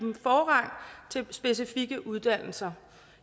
dem specifikke uddannelser